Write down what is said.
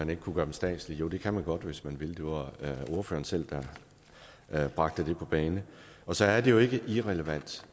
man kunne gøre dem statslige jo det kan man godt hvis man vil det var ordføreren selv der bragte det på bane og så er det jo ikke irrelevant